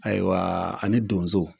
Ayiwa ani donzo